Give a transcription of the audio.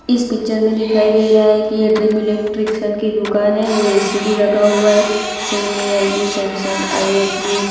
इस पिक्चर में दिखाई दे रहा है कि ये ड्रीम इलेक्ट्रिशियन की दुकान है वो ए_सी भी लगा हुआ है सोनी एल_जी सैमसंग आई_एफ_बी --